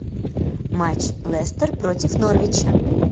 матч лестер против норвича